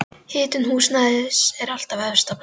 Hitun húsnæðis er þar efst á blaði.